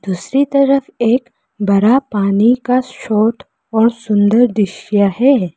दूसरी तरफ एक बड़ा पानी का शॉट और सुंदर दृश्य है।